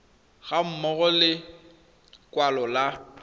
ga mmogo le lekwalo la